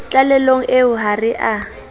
tlalehong eo ha re a